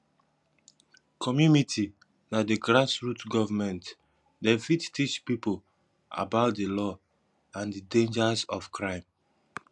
commumity na di grass root government dem fit teach pipo about di law and di dangers of crime